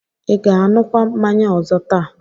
I ga-aṅụkwa mmanya ọzọ taa?